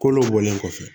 Kolo bɔlen kɔfɛ